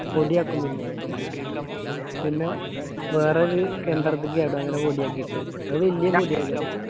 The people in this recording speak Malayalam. പൊടി ആക്കും പിന്നെ പിന്നോ വേറൊര് യന്ത്രത്തിൽ അങ്ങനെ പൊടിയാക്കിയിട്ട് അത് വെല്ല്യ പൊടി .